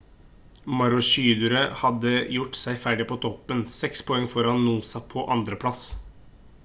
maroochydore hadde gjort seg ferdig på toppen 6 poeng foran noosa på 2. plass